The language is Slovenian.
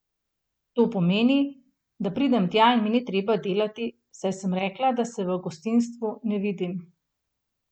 To pomeni, da pridem tja in mi ni treba delati, saj sem rekla, da se v gostinstvu ne vidim.